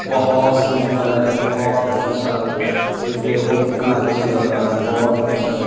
बहुत सुन्दर है बहुत अच्छा है इसे देखो कितना अच्छा लग रहा है बहुत अच्छा लग रहा है।